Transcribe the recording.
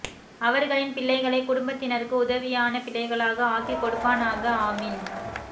அவர்களின் பிள்ளைகளை குடும்பத்தினருக்கு உதவியான பிள்ளைகளாக ஆக்கி கொடுப்பானாக ஆமீன்